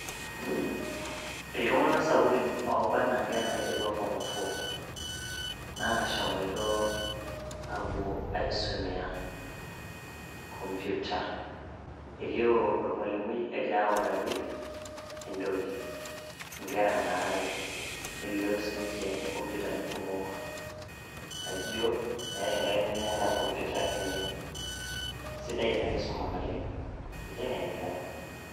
Iltungana sapukin ooba anaa inkera naidipa form four naashomoitoo aapo aisumea computer, eilioo ormwalumui egira autaki entoki inkera naara are, neilioo sii ninche kompyutani kumok naijo meetai enkaerai nemeeta computer enye, esidai en nkisoma naleng, eitengen inkera.